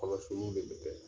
Kɔlɔsiliw de bɛ kɛ